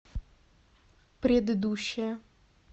предыдущая